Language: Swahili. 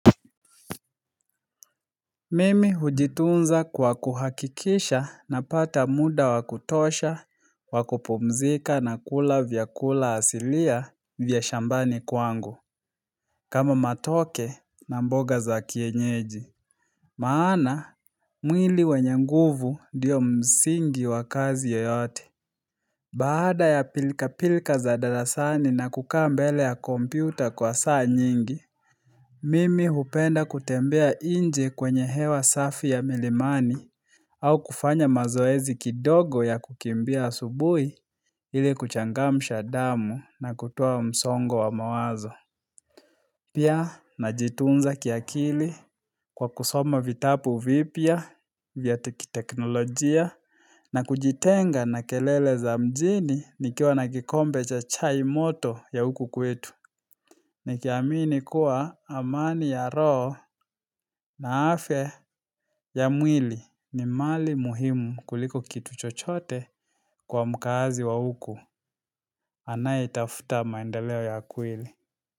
Mimi hujitunza kwa kuhakikisha napata muda wa kutosha, wa kuuomzika na kula vyakula asilia vya shambani kwangu kama matoke na mboga za kienyeji. Maana, mwili wenye nguvu ndio msingi wa kazi yoyote Baada ya pilka pilka za darasani na kukaa mbele ya kompyuta kwa saa nyingi Mimi hupenda kutembea nje kwenye hewa safi ya milimani au kufanya mazoezi kidogo ya kukimbia asubuhi ili kuchangamsha damu na kutoa msongo wa mawazo. Pia najituunza kiakili kwa kusoma vitapu vipya vya kiteknolojia na kujitenga na kelele za mjini nikiwa na kikombe cha chai moto ya huku kwetu. Nikiamini kuwa amani ya roho na afya ya mwili ni mali muhimu kuliko kitu chochote kwa mkaazi wa huku anayetafuta maendeleo ya kuili.